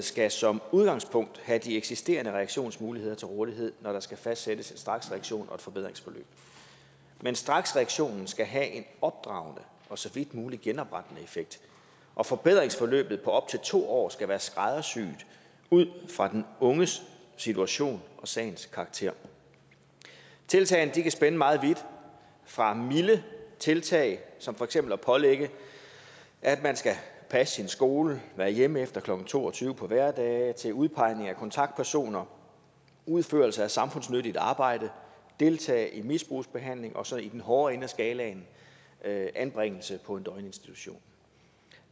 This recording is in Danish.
skal som udgangspunkt have de eksisterende reaktionsmuligheder til rådighed når der skal fastsættes en straksreaktion og et forbedringsforløb men straksreaktionen skal have en opdragende og så vidt muligt genoprettende effekt og forbedringsforløbet på op til to år skal være skræddersyet ud fra den unges situation og sagens karakter tiltagene kan spænde meget vidt fra milde tiltag som for eksempel at pålægge at man skal passe sin skole og være hjemme klokken to og tyve på hverdage til udpegning af kontaktpersoner udførelse af samfundsnyttigt arbejde deltagelse i misbrugsbehandling og så i den hårde ende af skalaen anbringelse på en døgninstitution